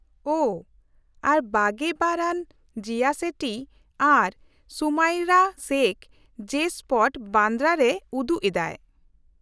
-ᱳᱦᱚ, ᱟᱨ ᱒᱒ ᱟᱱ ᱡᱤᱭᱟ ᱥᱮᱴᱷᱤ ᱟᱨ ᱥᱩᱢᱟᱭᱨᱟ ᱥᱮᱠᱷ ᱡᱮ ᱥᱯᱚᱴ, ᱵᱟᱱᱫᱨᱟ ᱨᱮ ᱩᱫᱩᱜ ᱮᱫᱟᱭ ᱾